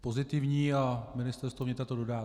Pozitivní a Ministerstvo vnitra to dodá.